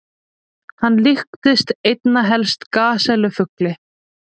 Hann líktist einna helst gasellu-fugli.